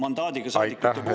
Aitäh, Helir-Valdor Seeder!